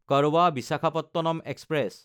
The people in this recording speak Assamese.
কৰবা–বিশাখাপট্টনম এক্সপ্ৰেছ